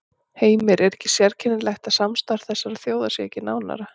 Heimir: Er ekki sérkennilegt að samstarf þessara þjóða sé ekki nánara?